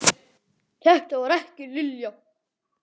Þetta var ekki Lilla.